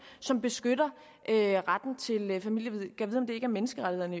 som beskytter retten til familieliv gad om det ikke er menneskerettighederne